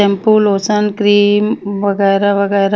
shampoo lotion cream वगेरा बगेरा --